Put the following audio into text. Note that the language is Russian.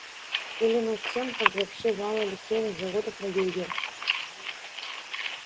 или над тем как вообще мало литейных заводов на юге